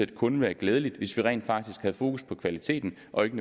det kunne være glædeligt hvis vi rent faktisk havde fokus på kvaliteten og ikke